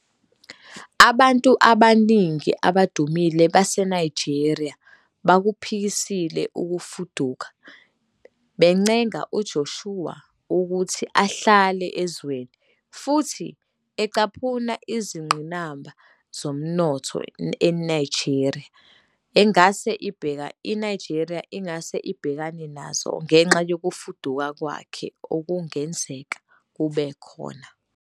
Abantu abaningana abadumile baseNigeria bakuphikisile ukufuduka, bencenga uJoshua ukuthi ahlale ezweni, futhi ecaphuna izingqinamba zomnotho iNigeria engase ibhekane nazo ngenxa yokufuduka kwakhe okungenzeka kube khona.